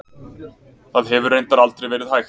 Það hefur reyndar aldrei verið hægt.